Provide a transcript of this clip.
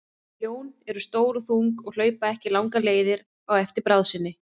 Ljón eru stór og þung og hlaupa ekki langar leiðir á eftir bráð sinni.